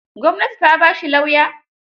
Gwamnati ta ba shi lauya?